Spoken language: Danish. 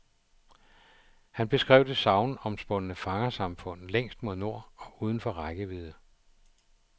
Han beskrev det sagnomspundne fangersamfund længst mod nord og uden for rækkevidde.